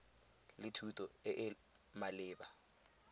le thuto e e maleba